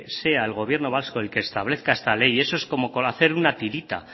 sea el gobierno vasco el que establezca esta ley eso es como con una tirita